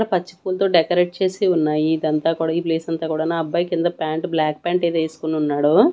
పచ్చి పూలతో డెకరేట్ చేసి ఉన్నాయి ఇదంతా కూడా ఈ ప్లేస్ అంతా కూడాను ఆ అబ్బాయి కింద ప్యాంట్ బ్లాక్ ప్యాంటు ఏదో ఏసుకోనున్నాడు.